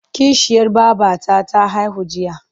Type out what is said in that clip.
Kishiyar babata ta haihu jiya.